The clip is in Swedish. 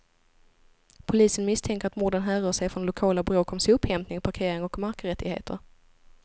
Polisen misstänker att morden härrör sig från lokala bråk om sophämtning, parkering och markrättigheter.